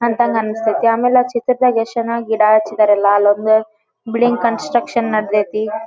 ಅಂತಂಗ್ ಅನ್ನಸ್ತತಿ ಆಮೇಲೆ ಚಿತ್ರದಾಗ ಎಷ್ಟ ಚನ್ನಾಗಿ ಗಿಡ ಹಚ್ಚಿದರ ಮ್ಯಾಲ ಬಿಲ್ಡಿಂಗ್ ಕನ್ಸ್ಟ್ರಕ್ಷನ್ ನಡದೈತಿ .